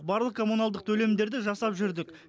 барлық коммуналдық төлемдерді жасап жүрдік